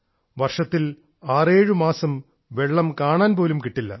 വർഷത്തിൽ 67 മാസം വെള്ളം കാണാൻ പോലും കിട്ടില്ല